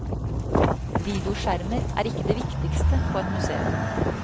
Videoskjermer er ikke det viktigste på et museum.